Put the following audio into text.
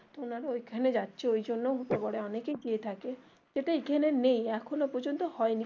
ওনারা ঐখানে যাচ্ছে ওই জন্যও হতে পারে অনেকেই গিয়ে থাকে যেটা এখানে নেই এখনো পর্যন্ত হয়নি